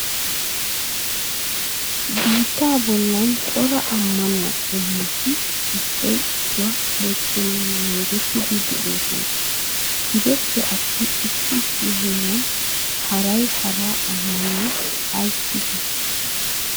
Biittaa bollan daro ammanaw qommoti issoy issuwa bochchenan naagetidi de'oosona. Gidoppe attin issi issi heeran haray hara ammanuwa ayssi bochchi?